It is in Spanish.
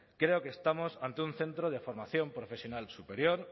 creo que estamos ante un centro de formación profesional superior